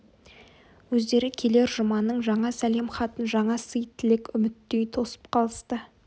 өздері келер жұманың жаңа сәлем хатын жаңа сый тілек үміттей тосып қалысты